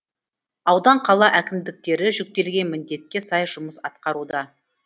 аудан қала әкімдіктері жүктелген міндетке сай жұмыс атқаруда